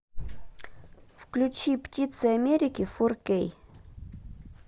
включи птицы америки фор кей